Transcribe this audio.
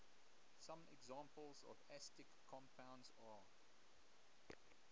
some examples of astatic compounds are